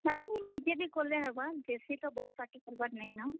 ନାଇଁ, ନାଇଁ ନିଜେ ବି କଲେ ହେବା, ବେଶୀ ତ ବଡ୍ party କରବାର ନାଇଁ ନ।